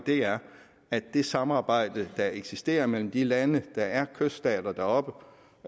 er at det samarbejde der eksisterer mellem de lande der er kyststater deroppe